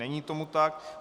Není tomu tak.